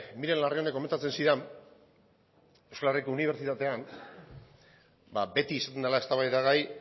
miren larrionek komentatzen zidan euskal herriko unibertsitatean beti izaten dela eztabaidagai